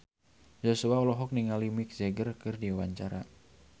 Joshua olohok ningali Mick Jagger keur diwawancara